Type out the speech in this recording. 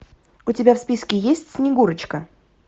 у тебя в списке есть снегурочка